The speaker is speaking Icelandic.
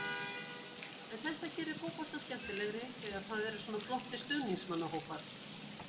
En þetta gerir fótboltann skemmtilegri þegar það eru svona flottir stuðningsmannahópar.